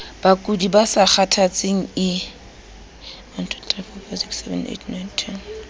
bakudi ba sa kgathatseng ie